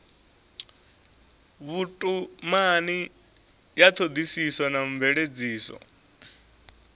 vhutumani ya thodisiso na mveledziso